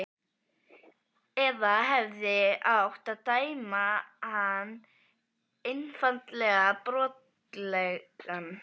Eða hefði átt að dæma hann einfaldlega brotlegan?